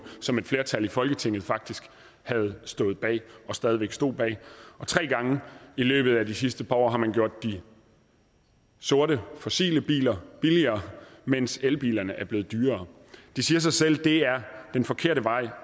som et flertal i folketinget faktisk havde stået bag og stadig væk stod bag og tre gange i løbet af de sidste par år har man gjort de sorte fossile biler billigere mens elbilerne er blevet dyrere det siger sig selv at det er den forkerte vej